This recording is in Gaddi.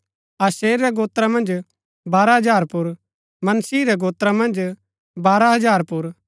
आशेर रै गोत्रा मन्ज बारह हजार पुर मनश्शिह रै गोत्रा मन्ज बारह हजार पुर